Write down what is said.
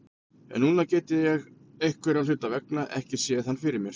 En núna get ég einhverra hluta vegna ekki séð hann fyrir mér.